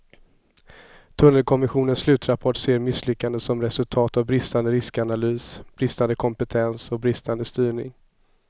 Tunnelkommissionens slutrapport ser misslyckandet som resultat av bristande riskanalys, bristande kompetens och bristande styrning.